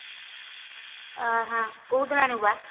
ଆ ହା କୋଉ ଦିନ ଆଣିବୁ ବା